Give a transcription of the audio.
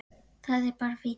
Það er bara fínt.